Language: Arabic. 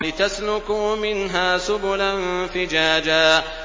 لِّتَسْلُكُوا مِنْهَا سُبُلًا فِجَاجًا